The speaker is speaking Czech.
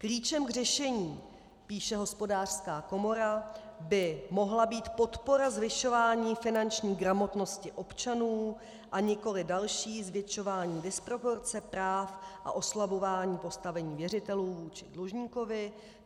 Klíčem k řešení, píše Hospodářská komora, by mohla být podpora zvyšování finanční gramotnosti občanů, a nikoli další zvětšování disproporce práv a oslabování postavení věřitelů vůči dlužníkovi.